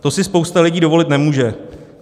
To si spousta lidí dovolit nemůže.